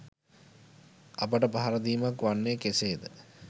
අපට පහර දීමක් වන්නේ කෙසේද?